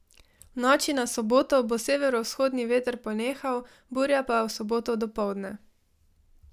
V noči na soboto bo severovzhodni veter ponehal, burja pa v soboto dopoldne.